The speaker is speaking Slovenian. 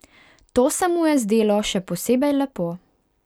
To se mu je zdelo še posebej lepo.